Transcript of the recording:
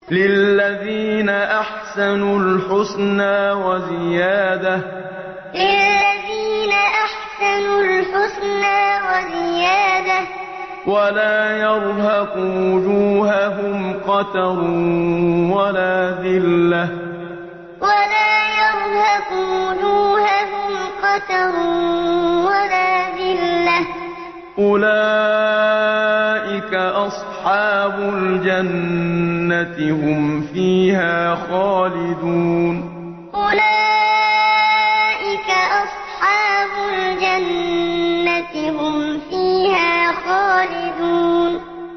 ۞ لِّلَّذِينَ أَحْسَنُوا الْحُسْنَىٰ وَزِيَادَةٌ ۖ وَلَا يَرْهَقُ وُجُوهَهُمْ قَتَرٌ وَلَا ذِلَّةٌ ۚ أُولَٰئِكَ أَصْحَابُ الْجَنَّةِ ۖ هُمْ فِيهَا خَالِدُونَ ۞ لِّلَّذِينَ أَحْسَنُوا الْحُسْنَىٰ وَزِيَادَةٌ ۖ وَلَا يَرْهَقُ وُجُوهَهُمْ قَتَرٌ وَلَا ذِلَّةٌ ۚ أُولَٰئِكَ أَصْحَابُ الْجَنَّةِ ۖ هُمْ فِيهَا خَالِدُونَ